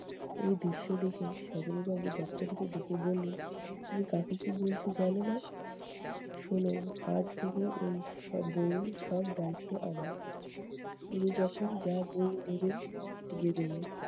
ওই দৃশ্য দেখে সজনী বাবু দপ্তরিকে ডেকে বললেন- তুমি কাকে কী বলছ জানো না? শুনো আজ থেকে ওই সব বইয়ের সব দায়িত্ব আমার । উনি যখন যা বই নিবেন, দিয়ে দেবে।